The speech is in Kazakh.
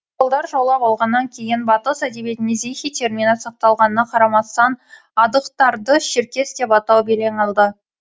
моңғолдар жаулап алғаннан кейін батыс әдебиетінде зихи термині сақталғанына қарамастан адығтарды шеркес деп атау белең алды